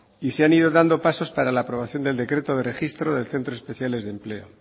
y se han ido dando pasos para la aprobación del decreto de registro de centros especiales de empleo